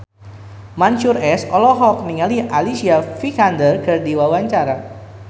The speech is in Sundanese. Mansyur S olohok ningali Alicia Vikander keur diwawancara